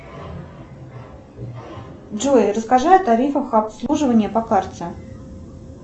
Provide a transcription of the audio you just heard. джой расскажи о тарифах обслуживания по карте